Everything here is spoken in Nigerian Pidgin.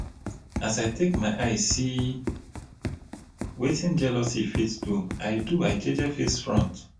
as i take my eye see wetin jealousy fit do i do i jeje face front.